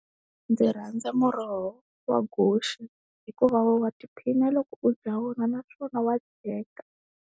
Ndzi rhandza muroho wa guxe hikuva wa tiphina loko u dya vona naswona wa dyeka.